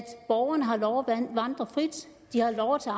borgerne har lov at vandre frit og har lov at